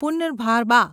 પુનર્ભાબા